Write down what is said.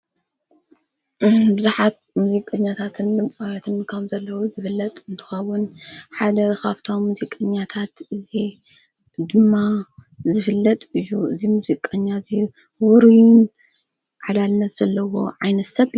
ብዙሓት ሙዙይቀኛታትን ልምቋውትን ካም ዘለዉ ዝፍለጥ እንተዋውን ሓደ ኻፍታም ሙዚይ ቀኛታት እዘ ድማ ዝፍለጥ እዩ እዙይ ምዙይቀኛ እዙይ ውርዩን ዓላልለት ዘለዎ ዕይነት ሰብ?